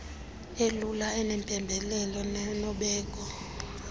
elula enempembelelo nenobeko